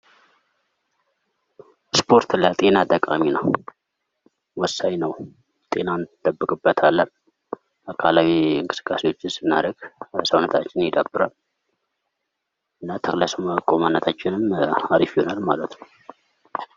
ስፖርት ለጤና ጠቃሚ ነው ፣ወሳኝ ነው፣ ጤና እንጠብቅበታለን። የተለያዩ እንቅስቃሴዎችን ስናደርግ ሰውነታችን ይደብራል። ተክለ ሰውነታችንም አሪፍ ይሆናል ማለት ነው።